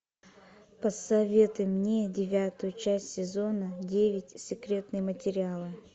посоветуй мне девятую часть сезона девять секретные материалы